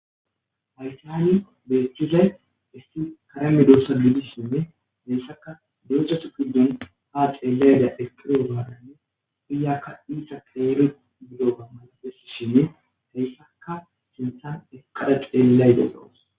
haytihani beeththizay isti kareme dossa didisshinne dessaka deezjatu gidon haa xeelayda ekirogaadaynne uyakka iisa keele gido gammafes shinne teyssaka sintan eqada xeellay delawus